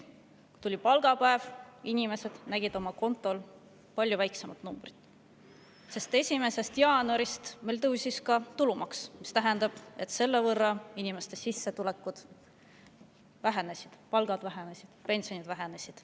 Tuli palgapäev ja inimesed nägid oma kontol palju väiksemat numbrit, sest 1. jaanuarist tõusis tulumaks, mis tähendab, et selle võrra inimeste sissetulekud vähenesid: palgad vähenesid ja pensionid vähenesid.